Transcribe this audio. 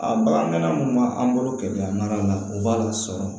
A bagan minnu b'an bolo kɛlɛ an' an na o b'a lasɔrɔ